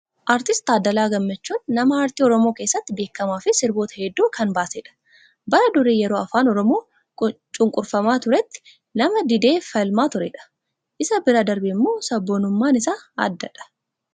Artisti Taaddalaa Gammachuun nama aartii oromoo keessatti beekamaa fi sirboota hedduu kan baasedha. Bara durii yeroo afaan oromoo cunqurfamaa turetti nama didee falmaa turedha. Isa bira darbeemmoo sabboonummaan isaa addadha.